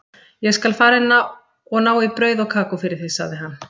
Ég skal fara inn og ná í brauð og kakó fyrir þig, sagði hann.